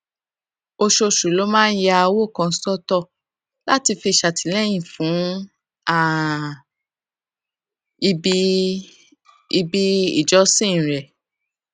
oṣooṣù ló máa ń ya owó kan sótò láti fi ṣàtìléyìn fún um ibi ibi ìjọsìn rè